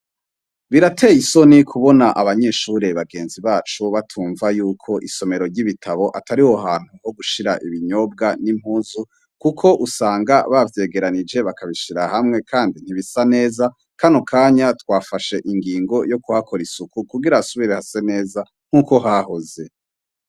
Birateye isoni kubona abanyeshure bagenzi bacu batumva yuko isomero ryibitabo atariho hantu hogushira ibinyobwa nimpuzu kuko usanga bavyegeranije bakabishira hamwe kandi ntibisa neza kanokanya twafashe ingingo yokuhakora isuku kugira hasubire hase neza nkuko hahoze